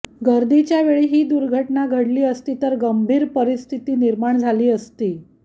गर्दीच्या वेळी ही दुर्घटना घडली असती तर गंभीर परिस्थिती निर्माण झाली असती